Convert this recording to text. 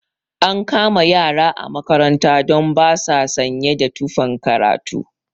An kama ƴara a makaranta don ba sa sanye da tufan karatu